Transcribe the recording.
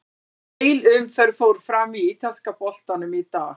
Heil umferð fór fram í ítalska boltanum í dag.